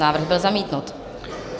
Návrh byl zamítnut.